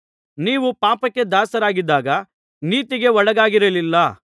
ನೀವು ಪಾಪಕ್ಕೆ ದಾಸರಾಗಿದ್ದಾಗ ನೀತಿಗೆ ಒಳಗಾಗಿರಲಿಲ್ಲ